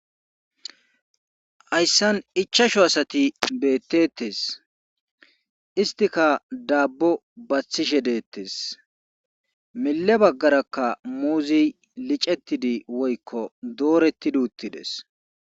hayssan ichchashu asati betetees.istikka daabo bathishe deetees. mile bagarakka muuze liccetidi woykko doretidi uttideecs.